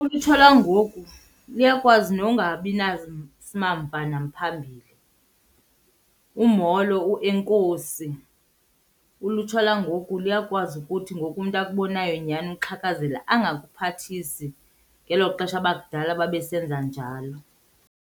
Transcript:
Ulutsha lwangoku luyakwazi nongabi simamva namphambili, umolo uenkosi. Ulutsha lwangoku luyakwazi ukuthi ngoku umntu akubonayo nyhani uxhakazela angakuphathi, ngelo xesha abakudala babe senza njalo.